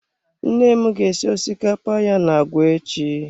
Nne m ga esi osikapa ya na agwa echi.